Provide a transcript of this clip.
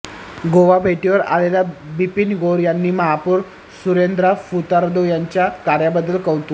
गोवा भेटीवर आलेल्या बिपीन गौर यांनी महापौर सुरेंद्र फुर्तादो यांच्या कार्याबद्दल कौतुक